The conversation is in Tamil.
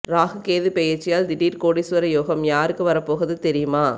ராகு கேது பெயர்ச்சியால் திடீர் கோடீஸ்வர யோகம் யாருக்கு வரப்போகுது தெரியுமா